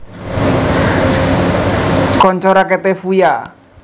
Kanca raketé Fuya